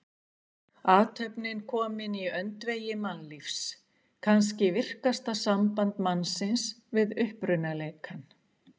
Athöfnin komin í öndvegi mannlífs, kannski virkasta samband mannsins við upprunaleikann.